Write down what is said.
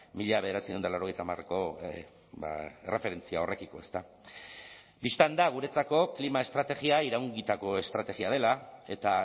mila bederatziehun eta laurogeita hamareko erreferentzia horrekiko ezta bistan da guretzako klima estrategia iraungitako estrategia dela eta